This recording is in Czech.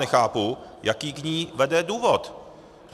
Nechápu, jaký k ní vede důvod.